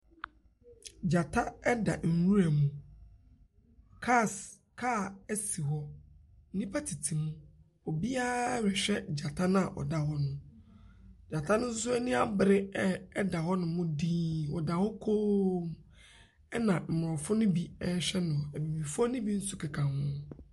Gyata da nwura mu. Cars car si hɔ. Nnipa tete mu. Obiararehwɛ gyata no a ɔda hɔ no. Gyata no nso ani abere re da hɔnom dinn, ɔda hɔ kommm. Ɛna Mmorɔfo no bi rehwɛ no. Abibifoɔ no bi nso keka ho.